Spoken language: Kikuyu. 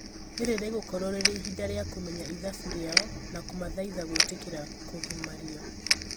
rĩrĩ rĩgũkorwo rĩrĩ ihinda rĩa kũmenya ithabu rĩao na kumathaitha gwĩtĩkĩra kũgimario